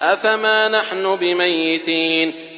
أَفَمَا نَحْنُ بِمَيِّتِينَ